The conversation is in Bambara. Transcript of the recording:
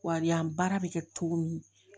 Wali yan baara bɛ kɛ cogo min